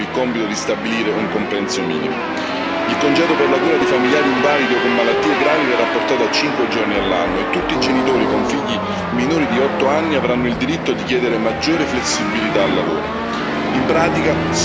Spetterà agli Stati membri il compito di stabilire un compenso minimo. Il congedo per la cura di familiari invalidi o con malattie gravi verrà portato a cinque giorni all'anno e tutti i genitori con figli minori di otto anni avranno il diritto di chiedere maggiore flessibilità al lavoro.